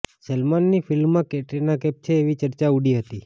સલમાનની ફિલ્મમાં કેટરીના કૈફ છે એવી ચર્ચા ઉડી હતી